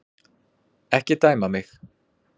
Ekki dæma mig.